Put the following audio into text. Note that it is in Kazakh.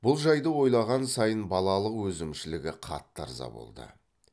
бұл жайды ойлаған сайын балалық өзімшілігі қатты ырза болды